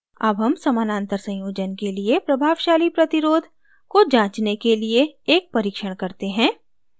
अब हम समानांतर संयोजन के लिए प्रभावशाली प्रतिरोध को जाँचने के लिए एक परीक्षण करते हैं